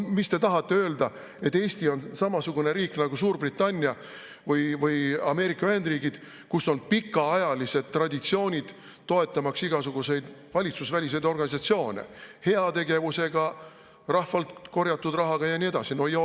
Mis te tahate öelda, et Eesti on samasugune riik nagu Suurbritannia või Ameerika Ühendriigid, kus on pikaajalised traditsioonid toetamaks igasuguseid valitsusväliseid organisatsioone, heategevusega rahvalt korjatud rahaga ja nii edasi?